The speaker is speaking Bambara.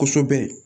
Kosɛbɛ